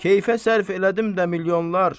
Keyfə sərf elədim də milyonlar.